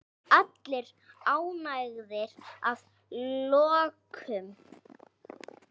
Allir ánægðir að lokum?